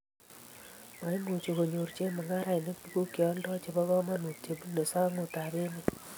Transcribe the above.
maimuch konyoru chemung'arenik tuguk che oldoi chebo kamanut che bunu sang'utab emet